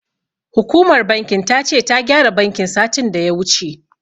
Hukumar bankin ta ce, ta gyara bankin, satin da ya wuce.